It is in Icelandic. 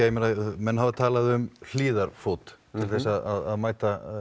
menn hafa talað um hliðarfót til að mæta